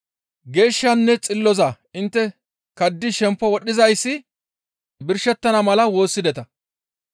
Geeshshanne xilloza intte kaddidi shempo wodhizayssi birshettana mala woossideta.